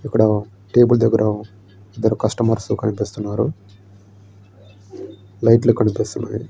ఇక్కడ టేబుల్ దగ్గర కష్టమర్స్ కనిపిస్తున్నారు. లైట్లు కనిపిస్తున్నాయి.